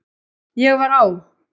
Ég var á